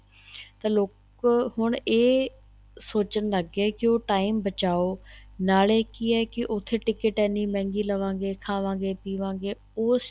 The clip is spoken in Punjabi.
ਤਾਂ ਲੋਕ ਹੁਣ ਇਹ ਸੋਚਣ ਲੱਗ ਗਏ ਏ ਕੀ ਉਹ time ਬਚਾਉ ਨਾਲੇ ਕੀ ਹੈ ਕੀ ਉੱਥੇ ticket ਐਨੀਂ ਮਹਿੰਗੀ ਲਵਾਗੇ ਖਾਵਾਗੇ ਪੀਵਾਂਗੇ ਉਸ